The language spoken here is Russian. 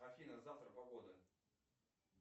афина завтра погода